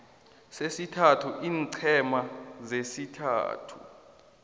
sesithathu iinqhema zesithathu